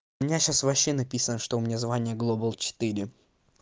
у меня сейчас вообще написано что у меня звание глобал четыре